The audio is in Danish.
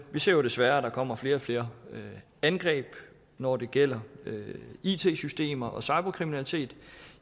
vi ser desværre der kommer flere og flere angreb når det gælder it systemer og cyberkriminalitet